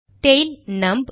tail நம்ப்